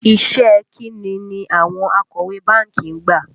Iṣẹ́ ẹ kín ni àwọn akọ̀wé báńkì gbà?